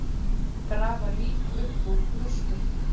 Grafa lík upp úr rústum